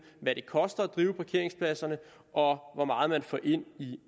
hvad det koster at drive parkeringspladserne og hvor meget man får ind i